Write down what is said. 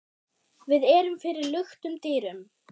Við erum fyrir luktum dyrum.